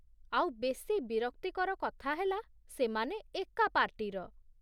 ଆଉ ବେଶି ବିରକ୍ତିକର କଥା ହେଲା ସେମାନେ ଏକା ପାର୍ଟିର ।